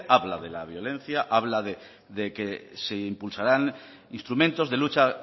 habla de la violencia habla de que se impulsarán instrumentos de lucha